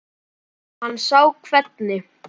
Hann sá hvernig